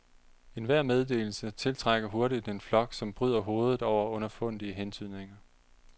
Enhver meddelelse tiltrækker hurtigt en flok, som bryder hovedet over underfundige hentydninger.